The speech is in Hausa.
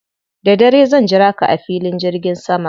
Da dare zan jira ka a filin jirgin sama.